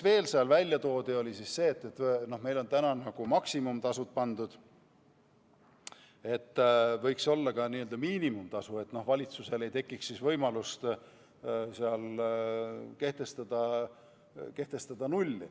Veel räägiti sellest, et meil on praegu määratud maksimumtasud, aga võiks olla ka miinimumtasu, et valitsusel ei tekiks võimalust kehtestada nulli.